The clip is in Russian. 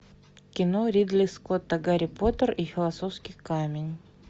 кино ридли скотта гарри поттер и философский камень